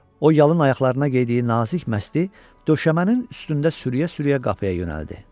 O yalın ayaqlarına geydiyi nazik məsti döşəmənin üstündə sürüyə-sürüyə qapıya yönəldi.